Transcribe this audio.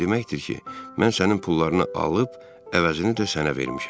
Bu o deməkdir ki, mən sənin pullarını alıb, əvəzini də sənə vermişəm.